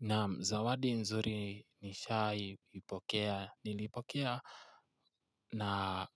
Nam zawadi nzuri nishaipokea nilipokea na